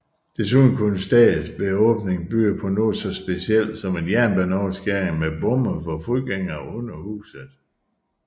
Desuden kunne stedet ved åbningen byde på noget så specielt som en jernbaneoverskæring med bomme for fodgængere under huset